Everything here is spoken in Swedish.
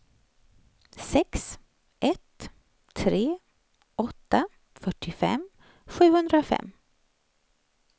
sex ett tre åtta fyrtiofem sjuhundrafem